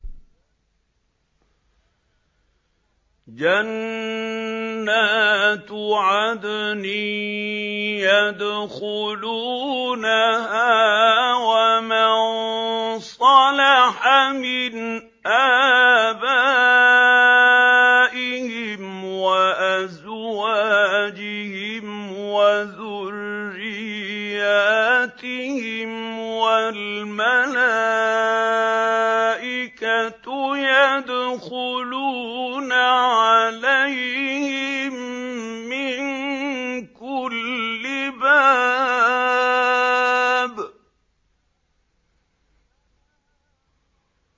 جَنَّاتُ عَدْنٍ يَدْخُلُونَهَا وَمَن صَلَحَ مِنْ آبَائِهِمْ وَأَزْوَاجِهِمْ وَذُرِّيَّاتِهِمْ ۖ وَالْمَلَائِكَةُ يَدْخُلُونَ عَلَيْهِم مِّن كُلِّ بَابٍ